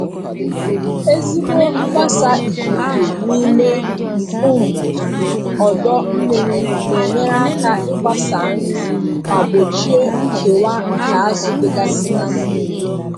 Ezigbo mgbasa ikuku n'ime um ọdọ mmiri na-enyere aka ịgbasa nri ma gbochie nkewa nke azụ dịgasị na mmiri.